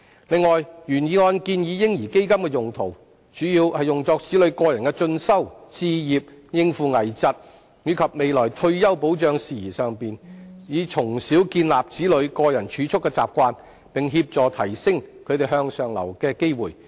此外，原議案建議"嬰兒基金"的用途，主要用作子女個人進修、置業、應付危疾，以及未來退休保障事宜上，以從小建立子女個人儲蓄的習慣，並協助提升其向上流動的機會。